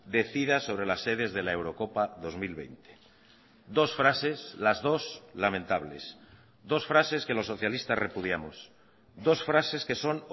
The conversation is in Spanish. decida sobre las sedes de la eurocopa dos mil veinte dos frases las dos lamentables dos frases que los socialistas repudiamos dos frases que son